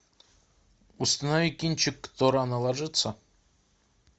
установи кинчик кто рано ложится